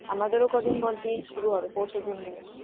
আমাদেরও কদিন পর দিয়ে শুরু হবে পরশুদিন দিয়ে